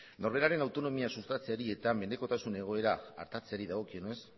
norberaren autonomia sustatzeari eta mendekotasun egoera artatzeari dagokienez